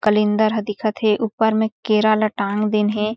कलिंदर ह दिखत हे ऊपर म केरा ला टांग दिये हे।